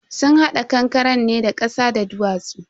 sun hada kankaren ne da kasa da duwatsu.